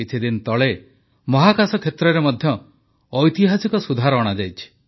କିଛିଦିନ ତଳେ ମହାକାଶ କ୍ଷେତ୍ରରେ ମଧ୍ୟ ଐତିହାସିକ ସୁଧାର ଅଣାଯାଇଛି